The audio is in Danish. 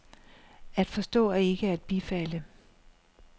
At forstå er ikke at bifalde.